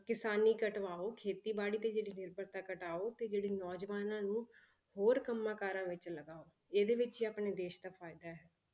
ਕਿਸਾਨੀ ਘਟਵਾਓ ਖੇਤੀਬਾੜੀ ਤੇ ਜਿਹੜੀ ਨਿਰਭਰਤਾ ਘਟਾਓ ਤੇ ਜਿਹੜੇ ਨੌਜਵਾਨਾਂ ਨੂੰ ਹੋਰ ਕੰਮਾਂ ਕਾਰਾਂ ਵਿੱਚ ਲਗਾਓ, ਇਹਦੇ ਵਿੱਚ ਹੀ ਆਪਣੇ ਦੇਸ ਦਾ ਫ਼ਾਇਦਾ ਹੈ।